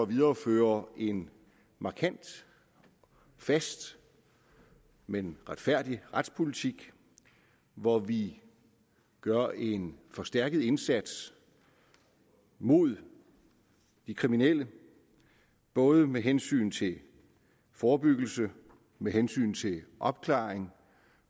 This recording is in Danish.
videreføre en markant og fast men retfærdig retspolitik hvor vi gør en forstærket indsats mod de kriminelle både med hensyn til forebyggelse med hensyn til opklaring